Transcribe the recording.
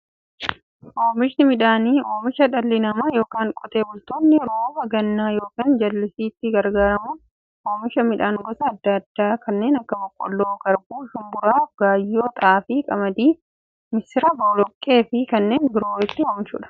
Oomishni midhaanii, oomisha dhalli namaa yookiin Qotee bultoonni roba gannaa yookiin jallisiitti gargaaramuun oomisha midhaan gosa adda addaa kanneen akka; boqqoolloo, garbuu, shumburaa, gaayyoo, xaafii, qamadii, misira, boloqqeefi kanneen biroo itti oomishamiidha.